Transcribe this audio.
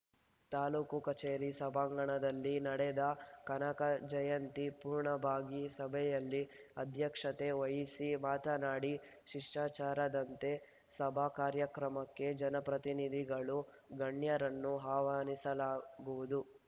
ತಾಲೂಕು ಕಚೇರಿ ಸಭಾಂಗಣದಲ್ಲಿ ನಡೆದ ಕನಕ ಜಯಂತಿ ಪೂರ್ಣ ಭಾಗಿ ಸಭೆಯಲ್ಲಿ ಅಧ್ಯಕ್ಷತೆ ವಹಿಸಿ ಮಾತನಾಡಿ ಶಿಷ್ಟಾಚಾರದಂತೆ ಸಭಾಕಾರ್ಯಕ್ರಮಕ್ಕೆ ಜನಪ್ರತಿನಿಧಿಗಳು ಗಣ್ಯರನ್ನು ಆಹ್ವಾನಿಸಲಾಗುವುದು